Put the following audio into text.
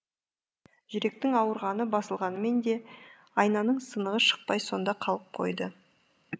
жүректің ауырғаны басылғанымен де айнаның сынығы шықпай сонда қалып қойды